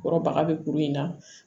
Kɔrɔ baga bɛ kuru in na